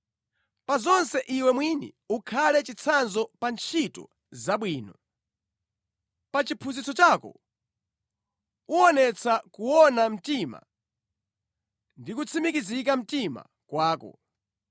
Pa zonse iwe mwini ukhale chitsanzo pa ntchito zabwino. Pa chiphunzitso chako uwonetsa kuona mtima ndi kutsimikiza mtima kwako.